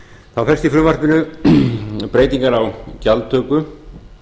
þá felast í frumvarpinu breytingar á gjaldtöku